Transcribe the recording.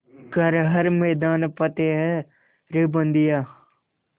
कर हर मैदान फ़तेह रे बंदेया